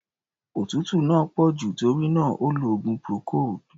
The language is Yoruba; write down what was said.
Òtútú náà pọ̀ jù, tórí náà, ó lo oògùn procold.